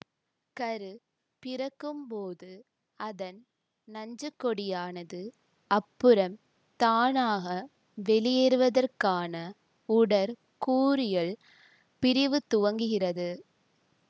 கரு பிறக்கும்போது அதன் நஞ்சுக்கொடியானது அப்புறம் தானாக வெளியேறுவதற்கான உடற்கூறியல் பிரிவு துவங்குகிறது